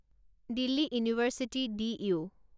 Delhi university D U